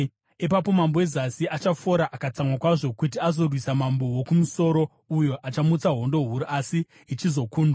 “Ipapo mambo weZasi achafora akatsamwa kwazvo kuti azorwisa mambo woKumusoro, uyo achamutsa hondo huru, asi ichizokundwa.